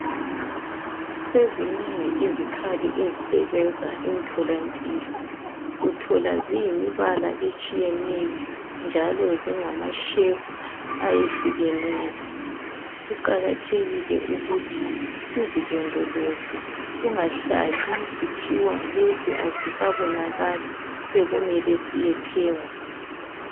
Sezinengi izikhali ezisebenza emtholampilo, uthola ziyimibala etshiyeneyo njalo zingama "shape" ayehlukeneyo kuqakathekile ukuthi sizilondoloze, kungahlali kuthiwa lesi asisabonakali sekumele siyethengwa.